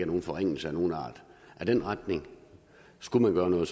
nogen forringelse af nogen art i den retning skulle man gøre noget